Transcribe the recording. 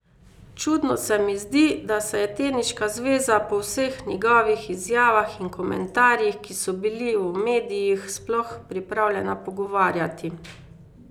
Čudno se mi zdi, da se je teniška zveza po vseh njegovih izjavah in komentarjih, ki so bili v medijih, sploh pripravljena pogovarjati.